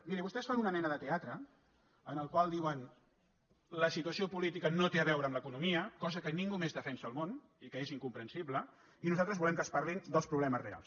mirin vostès fan una mena de teatre en el qual diuen la situació política no té a veure amb l’economia cosa que ningú més defensa al món i que és incomprensible i nosaltres volem que es parli dels problemes reals